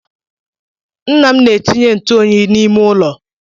Nna m na-etinye ntụoyi n'ime ụlọ.